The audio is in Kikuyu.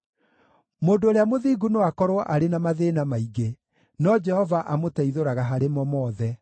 Mũndũ ũrĩa mũthingu no akorwo arĩ na mathĩĩna maingĩ, no Jehova amũteithũraga harĩ mo mothe;